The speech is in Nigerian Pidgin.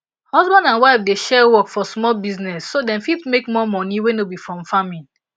husband and wife dey share work for small business so dem fit make more money wey no be from farming